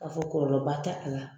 k'a fɔ kɔlɔlɔba t'a la.